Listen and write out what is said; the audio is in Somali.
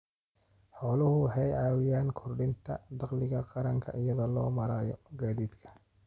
Xooluhu waxay caawiyaan kordhinta dakhliga qaranka iyada oo loo marayo gaadiidka.